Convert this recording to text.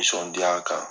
Nisɔndiya kan